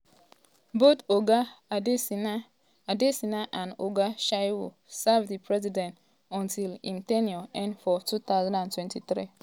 both oga adesina adesina and oga shehu um serve di president until im ten ure end for 2023.